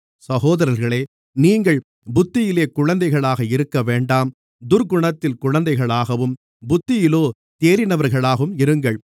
சகோதரர்களே நீங்கள் புத்தியிலே குழந்தைகளாக இருக்கவேண்டாம் துர்க்குணத்திலே குழந்தைகளாகவும் புத்தியிலோ தேறினவர்களாகவும் இருங்கள்